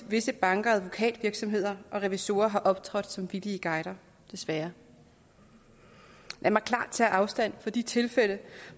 visse banker advokatvirksomheder og revisorer har optrådt som villige guider desværre lad mig klart tage afstand fra de tilfælde